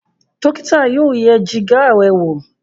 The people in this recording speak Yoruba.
dókítà yóò yẹ Jìgá rẹ wọ